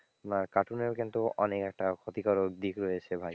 আহ cartoon এরও কিন্তু অনেক একটা ক্ষতিকারক দিক রয়েছে ভাই,